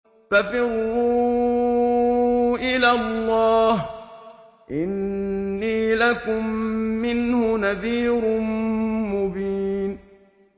فَفِرُّوا إِلَى اللَّهِ ۖ إِنِّي لَكُم مِّنْهُ نَذِيرٌ مُّبِينٌ